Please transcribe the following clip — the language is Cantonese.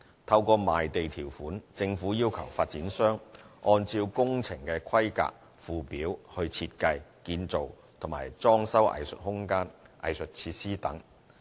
透過賣地條款，政府要求發展商按照工程規格附表來設計、建造和裝修藝術空間、藝術設施等。